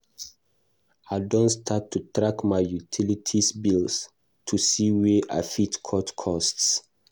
I don start to track my utilities bills to see where I fit cut costs.